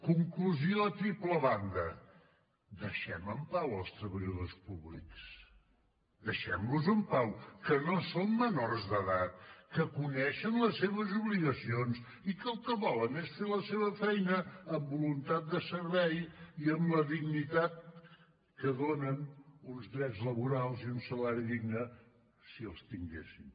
conclusió a triple banda deixem en pau els treballadors públics deixem los en pau que no són menors d’edat que coneixen les seves obligacions i que el que volen és fer la seva feina amb voluntat de servei i amb la dignitat que donen uns drets laborals i un salari digne si els tinguessin